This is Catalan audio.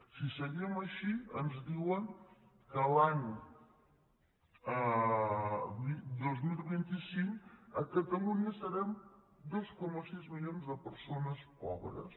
si seguim així ens diuen que l’any dos mil vint cinc a catalunya serem dos coma sis milions de persones pobres